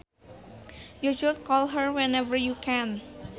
You should call her whenever you can